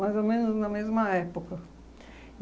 Mais ou menos na mesma época.